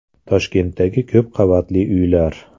Toshkentdagi ko‘p qavatli uylar.